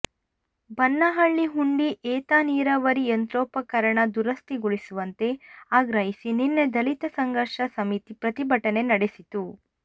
ಬನ್ನಹಳ್ಳಿಹುಂಡಿ ಏತನೀರಾವರಿ ಯಂತ್ರೋಪಕರಣ ದುರಸ್ಥಿಗೊಳಿಸುವಂತೆ ಆಗ್ರಹಿಸಿ ನಿನ್ನೆ ದಲಿತ ಸಂಘರ್ಷ ಸಮಿತಿ ಪ್ರತಿಭಟನೆ ನಡೆಸಿತ್ತು